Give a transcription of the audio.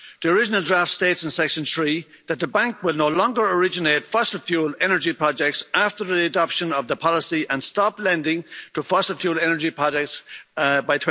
The original draft states in Section 3 that the Bank will no longer originate fossil fuel energy projects after the adoption of the policy and stop lending to fossil fuel energy projects by